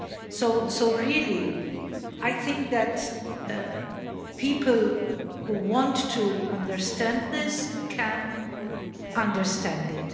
So really, I think that people who want to understand this can understand it.